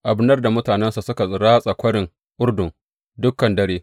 Abner da mutanensa suka ratsa kwarin Urdun dukan dare.